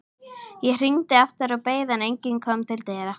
Ég hringdi aftur og beið, en enginn kom til dyra.